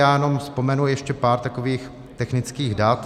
Já jenom vzpomenu ještě pár takových technických dat.